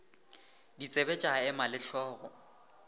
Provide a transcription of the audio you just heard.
ditsebe tša ema le hlogo